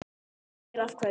Ég spyr af hverju?